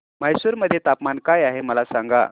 म्हैसूर मध्ये तापमान काय आहे मला सांगा